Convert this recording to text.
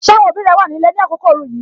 Ṣé àwọn òbí rẹ wà ní ilé ni àkókò ooru yìí?